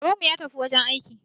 Babanmu ya tafi wajen aiki